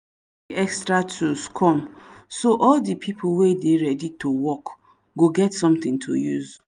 extra tools come so all de pipo wey dey ready to work go get something to use